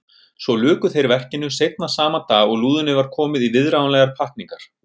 Svo luku þeir verkinu seinna sama dag og lúðunni var komið í viðráðanlegar pakkningar.